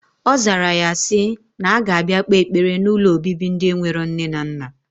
Ozara ya si, na aga abia kpe ekpere na ụlọ obibi ndi enwero nne na nna.